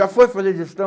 Já foi fazer digestão?